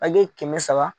Akiɲɛ kɛmɛ saba